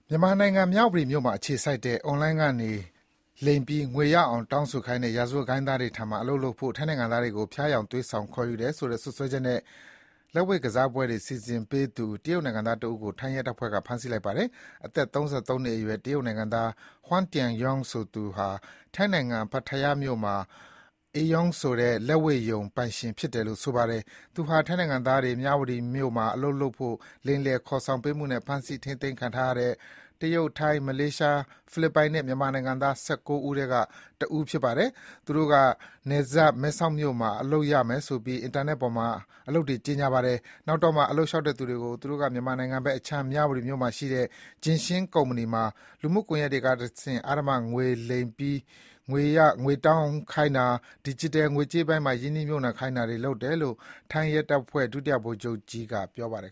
မြန်မာနိုင်ငံ၊ မြဝတီမြို့မှာအခြေစိုက်တဲ့ Online ကနေ လိမ်ပြီးငွေရအောင်တောင်းခိုင်းတဲ့ ရာဇဝတ်ဂိုဏ်းသားတွေထံမှာအလုပ်လုပ်ဖို့ ထိုင်းနိုင်ငံသားတွေကို ဖျားယောင်းသွေးဆောင်ခေါ်ယူတယ်ဆိုတဲ့ စွပ်စွဲချက်နဲ့ လက်ဝှေ့ကစားပွဲတွေစီစဉ်ပေးသူ တရုတ်နိုင်ငံသားတဦးကို ထိုင်းရဲတပ်ဖွဲ့က ဖမ်းဆီးလိုက်ပါတယ်။ အသက် ၃၃ နှစ်အရွယ် တရုတ်နိုင်ငံသား Huang Tianyong ဆိုသူဟာ ထိုင်းနိုင်ငံ၊ Pattaya မြို့မှာ Ayong ဆိုတဲ့ လက်ဝှေ့ရုံပိုင်ရှင်ဖြစ်တယ်လို့ ဆိုပါတယ်။ သူဟာ ထိုင်းနိုင်ငံသားတွေ မြဝတီမြို့မှာ အလုပ်လုပ်ဖို့ လိမ်လည်ခေါ်ဆောင်ပေးမှုနဲ့ ဖမ်းဆီးထိန်းသိမ်းခံထားရတဲ့ တရုတ်၊ ထိုင်း၊ မလေးရှား၊ ဖိလစ်ပိုင်နဲ့ မြန်မာနိုင်ငံသား ၁၉ ဦးထဲက တဦးဖြစ်ပါတယ်။ “သူတို့က နယ်စပ် မဲဆောက်မြို့မှာ အလုပ်လုပ်ရမယ်ဆိုပြီး အင်တာနက်ပေါ်မှာ အလုပ်တွေ ကြေညာပါတယ်။ နောက်တော့မှာ အလုပ်လျှောက်တဲ့သူတွေကို သူတို့က မြန်မာနိုင်ငံဘက်အခြမ်း၊ မြဝတီမြို့မှာရှိတဲ့ JinXin ကုမ္ပဏီမှာ လူမှုကွန်ယက်တွေကတဆင့် အဓမ္မ လိမ်ပြီးငွေရအောင်တောင်းခိုင်းတာ၊ ဒီဂျစ်တယ် ငွေကြေးပိုင်းမှာ ရင်းနှီးမြှုပ်နှံခိုင်းတာတွေ လုပ်ခိုင်းပါတယ်” - လို့ ထိုင်းရဲတပ်ဖွဲ့က ဒုတိယ ဗိုလ်ချုပ်ကြီး Jirabhop က ပြောပါတယ်